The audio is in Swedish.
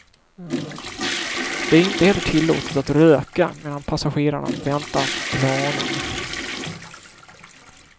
Det är inte heller tillåtet att röka medan passagerarna väntar på planen.